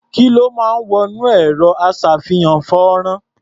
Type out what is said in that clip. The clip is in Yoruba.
Kí ló máa ń wọ inú ẹ̀rọ-aṣá̀fihàn-fọ́nrán?